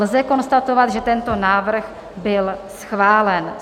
Lze konstatovat, že tento návrh byl schválen.